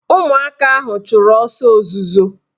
Ụmụaka ahụ chụrụ ọsọ ozuzo